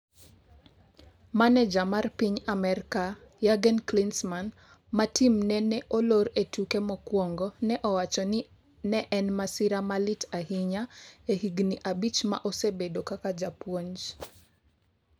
Maneja mar piny Amerka, Jurgen Klinsmann, ma timne ne olor e tuke mokuongo, ne owacho ni ne en ‘masira malit ahinya’ e higni abich ma osebedo kaka japuonj.